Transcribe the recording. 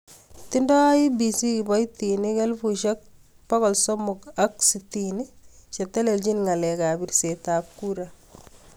Tindoi IEBC kiboitinik 360,000 chetelchin ngalek ap pirset ap kura.